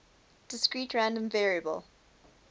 discrete random variable